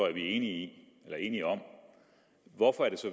at vi er enige enige om hvorfor er det så